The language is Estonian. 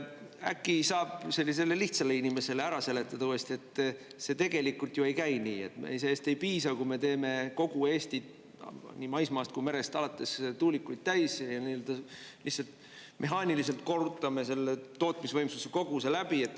Äkki saab sellisele lihtsale inimesele ära seletada uuesti, et see tegelikult ju ei käi nii, et sellest ei piisa, kui me teeme kogu Eestit – nii maismaast kui merest alates – tuulikuid täis, lihtsalt mehaaniliselt korrutame selle tootmisvõimsuse koguse läbi.